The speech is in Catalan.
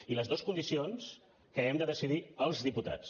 i les dues condicions que hem de decidir els diputats